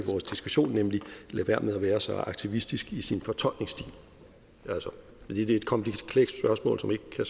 i lade være med at være så aktivistisk i sin fortolkningsstil det er et komplekst spørgsmål som ikke kan